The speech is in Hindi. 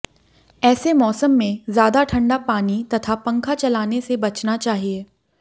ऐसे मौसम में ज्यादा ठंडा पानी तथा पंखा चलाने से बचना चाहिए